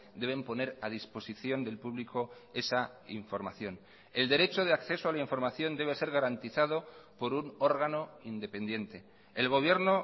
deben poner a disposición del público esa información el derecho de acceso a la información debe ser garantizado por un órgano independiente el gobierno